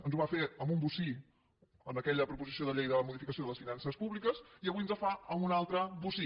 ens ho va fer amb un bocí en aquella proposició de llei de modificació de les finances públiques i avui ens ho fa amb un altre bocí